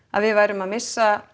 að við værum að missa